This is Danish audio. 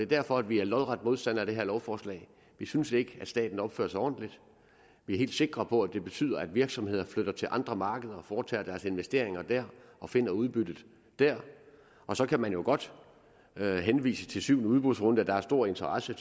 derfor at vi er lodret modstandere af det her lovforslag vi synes ikke at staten opfører sig ordentligt vi er helt sikre på at det betyder at virksomheder flytter til andre markeder foretager deres investeringer der og finder udbyttet der og så kan man jo godt henvise til syvende udbudsrunde og der er stor interesse